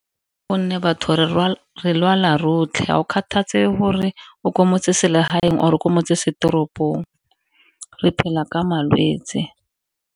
Go nne batho re lwala rotlhe ga gore o kwa motseselegaeng or-e motsesetoropong re phela ka malwetse.